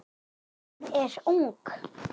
Hún er ung.